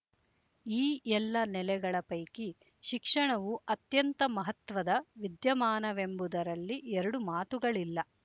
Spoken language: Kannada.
ಈ ಎಲ್ಲ ನೆಲೆಗಳ ಪೈಕಿ ಶಿಕ್ಷಣವು ಅತ್ಯಂತ ಮಹತ್ವದ ವಿದ್ಯಮಾನವೆಂಬುದರಲ್ಲಿ ಎರಡು ಮಾತುಗಳಿಲ್ಲ